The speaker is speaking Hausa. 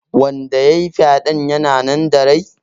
Wanda yayi fyaɗe yana nan da rai?